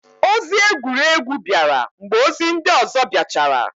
Ozi egwuregwu bịara mgbe ozi ndị ọzọ biachara.